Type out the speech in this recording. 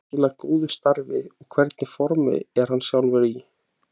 Hefur hann skilað góðu starfi og hvernig formi er hann sjálfur í?